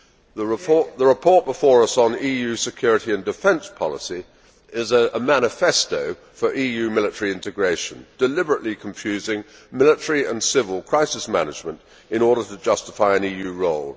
The report before us on EU security and defence policy is a manifesto for EU military integration, deliberately confusing military and civil crisis management in order to justify an EU role.